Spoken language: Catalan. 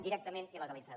directament il·legalitzada